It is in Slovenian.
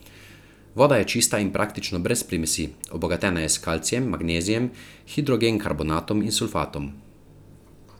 Voda je čista in praktično brez primesi, obogatena je s kalcijem, magnezijem, hidrogenkarbonatom in sulfatom.